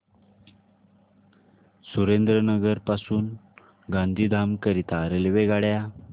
सुरेंद्रनगर पासून गांधीधाम करीता रेल्वेगाड्या